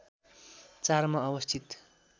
४ मा अवस्थित